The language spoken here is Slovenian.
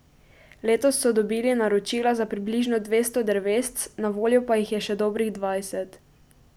Letos so dobili naročila za približno dvesto drevesc, na voljo pa jih je še dobrih dvajset.